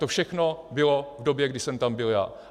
To všechno bylo v době, kdy jsem tam byl já.